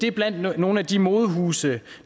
er blandt nogle af de modehuse